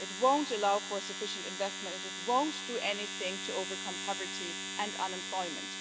It won't allow for sufficient investment, it won't do anything to overcome poverty and unemployment.